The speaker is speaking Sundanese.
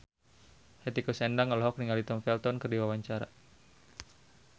Hetty Koes Endang olohok ningali Tom Felton keur diwawancara